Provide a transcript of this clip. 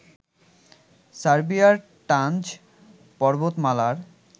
সার্বিয়ার টানজ পর্বতমালার